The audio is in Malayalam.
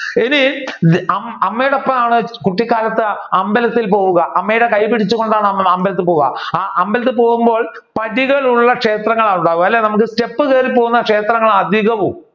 ഇത് അമ്മയുടെ ഒപ്പമാണ് കുട്ടികാലത്ത് അമ്പലത്തിൽ പോവുക അമ്മയുടെ കൈ പിടിച്ചുകൊണ്ടാണ് അമ്പലത്തിൽ പോവുക അമ്പലത്തിൽ പോവുമ്പോൾ പടികൾ ഉള്ള ക്ഷേത്രങ്ങളാണ് ഉണ്ടാവുക നമ്മുക്ക് step കേറി പോകുന്ന ക്ഷേത്രങ്ങളാണ് അധികവും.